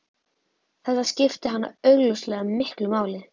Þetta skipti hana augljóslega miklu máli.